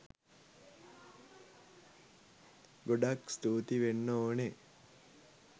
ගොඩක් ස්තූති වෙන්න ඕනෙ